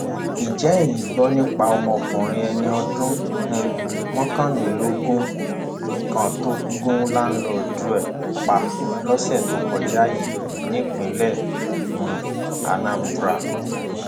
ǹjẹ eyín gbọ nípa ọmọkùnrin ẹni ọdún um mọkànlélógún kan tó gùn láńlọọdù ẹ pa lọsẹ tó kọjá yìí nípínlẹ um anambra